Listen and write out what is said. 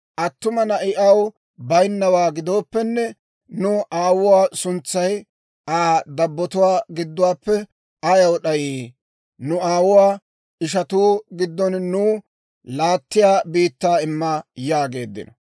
Attuma na'i aw baynnawaa gidooppenne, nu aawuwaa suntsay Aa dabbotuwaa gidduwaappe ayaw d'ayii? Nu aawuwaa ishanttu giddon nuw laattiyaa biittaa imma» yaageeddino.